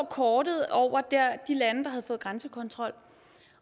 kortet over de lande der havde fået grænsekontrol